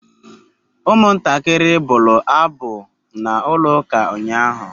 Umuntakiri bulu abu na ulo uka unyahu